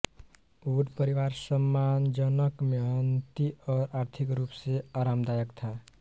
would परिवार सम्मानजनक मेहनती और आर्थिक रूप से आरामदायक था